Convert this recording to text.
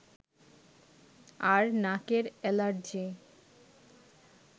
আর নাকের এলার্জি